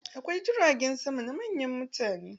Akwai jiragen sama na manyan mutane.